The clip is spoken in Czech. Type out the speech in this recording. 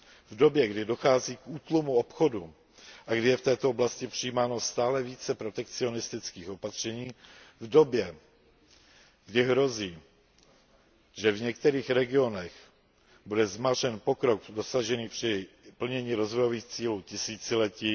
V době, kdy dochází k útlumu obchodu a kdy je v této oblasti přijímáno stále více protekcionistických opatření, v době, kdy hrozí, že v některých regionech bude zmařen pokrok dosažený při plnění rozvojových cílů tisíciletí,